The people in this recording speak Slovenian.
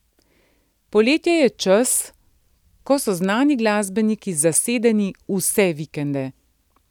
Poletje je čas, ko so znani glasbeniki zasedeni vse vikende.